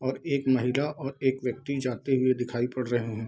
और एक महिला और एक व्यक्ति जाते हुए दिखाई पड़ रहे हैं।